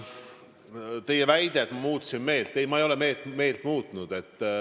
Teie väide oli, et ma muutsin meelt – ei, ma ei ole meelt muutnud.